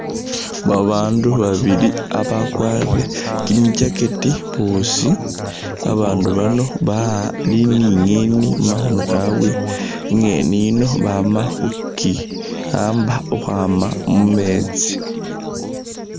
Babaandu babili abakwarire kyimi jacket boosi abaandu bano bali ni inyeeni mumakhono kabwe inyeeni ino bamakhuki'aba ukhwama mumeetsi .